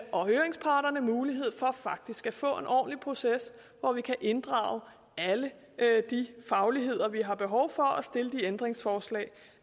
og høringsparterne mulighed for faktisk at få en ordentlig proces hvor vi kan inddrage alle de fagligheder vi har behov for og stille de ændringsforslag